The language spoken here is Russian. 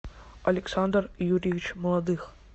александр юрьевич молодых